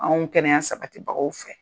Anw kɛnɛya sabatibagaw fɛ.